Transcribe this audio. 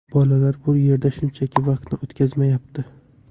Bolalar bu yerda shunchaki vaqtini o‘tkazyapti.